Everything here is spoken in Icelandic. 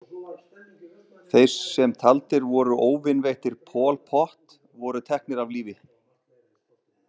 Þeir sem taldir voru óvinveittir Pol Pot voru teknir af lífi.